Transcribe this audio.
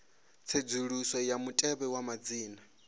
tsedzuluso ya mutevhe wa madzina